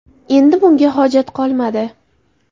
Endi bunga hojat qolmadi.